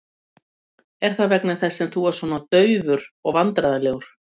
Er það þess vegna sem þú ert svona daufur og vandræðalegur?